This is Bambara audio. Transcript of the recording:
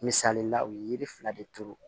Misalila u ye yiri fila de turu